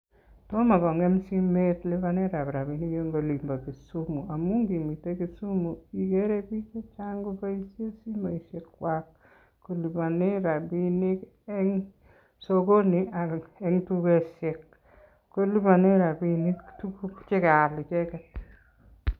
Tomo kongeem simet lipanetab rabinik en olimbo Kisumu ngamun en Kisumu ikere biik chechang koboishienn simoisiekwak kolipanen rabinik en sokoni ak en tugosiek. kolipanen rabinik tuguuk che kaal icheget